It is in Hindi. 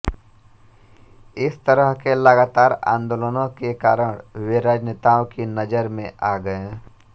इस तरह के लगातार आन्दोलनों के कारण वे राजनेताओं की नजर में आ गए